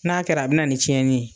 N'a kɛra, be na ni tiɲɛni ye.